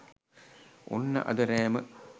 ඔන්න අද රෑම